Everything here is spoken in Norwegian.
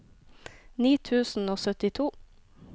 ni tusen og syttito